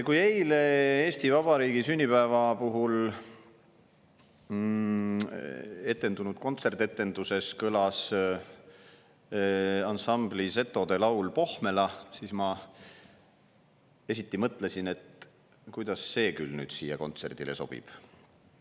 Kui eile Eesti Vabariigi sünnipäeva puhul etendunud kontsertetenduses kõlas ansambli Zetod laul "Pohmela", siis ma esiti mõtlesin, kuidas see küll sellele kontserdile sobib.